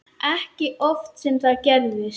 Ekki oft sem það gerist.